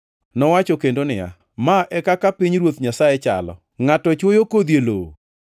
Nowacho bende niya, “Ma e kaka pinyruoth Nyasaye chalo. Ngʼato chwoyo kodhi e lowo.